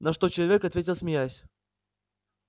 на что человек ответил смеясь